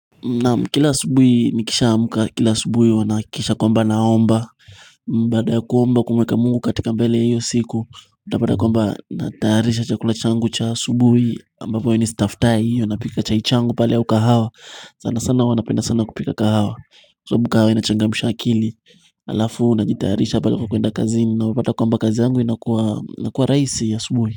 Naam, kila asubuhi nikishaamka, kila asubuhi huwa nahakikisha kwamba naomba baada ya kuomba, kumweka Mungu katika mbele ya hiyo siku Utapata kwamba natayarisha chakula changu cha asubuhi ambapo ni staftahi, huwa napika chai changu pale au kahawa. Sana sana huwa napenda sana kupika kahawa sababu kahawa inachangamsha akili Alafu najitayarisha pale kwa kwenda kazini na wapata kwamba kazi yangu inakuwa rahisi ya asubuhi.